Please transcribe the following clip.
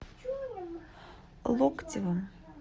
локтевым